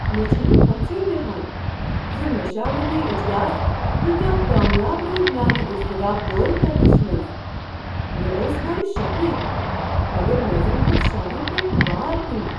مےٚ چھنہٕ پژھیہ بیہان ز مشاورتی اجلاس کۭتیٛاہ کامیاب روٗدۍ میانہ اضطراب دور کرنس منٛز ۔ مےٚ اوس گۄڈٕ شکھے، مگر مےٚ زنہٕ ووٚتھ شانو پٮ۪ٹھٕ بار ہِیُو۔